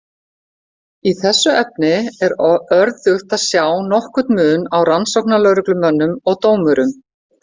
Í þessu efni er örðugt að sjá nokkurn mun á rannsóknarlögreglumönnum og dómurum.